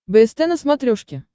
бст на смотрешке